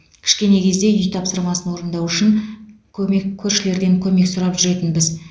кішкене кезде үй тапсырмасын орындау үшін көмек көршілерден көмек сұрап жүретінбіз